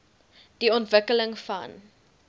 die ontwikkeling van